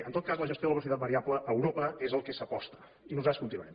en tot cas la gestió de la velocitat variable a europa és per al que s’aposta i nosaltres continuarem